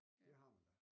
Det har man da